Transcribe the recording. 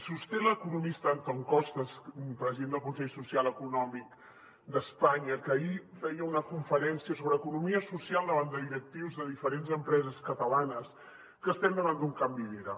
sosté l’economista antón costas president del consell econòmic i social d’espanya que ahir feia una conferència sobre economia social davant de directius de diferents empreses catalanes que estem davant d’un canvi d’era